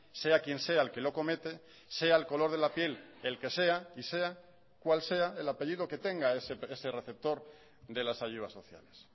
sea quien sea el que lo comete sea el color de la piel el que sea y sea cual sea el apellido que tenga ese receptor de las ayudas sociales